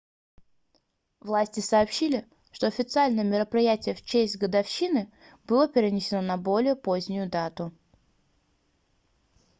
власти сообщили что официальное мероприятие в честь годовщины было перенесено на более позднюю дату